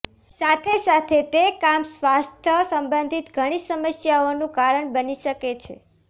સાથે સાથે તે કામ સ્વાસ્થ્ય સંબંધિત ઘણી સમસ્યાઓનું કારણ બની શકે છે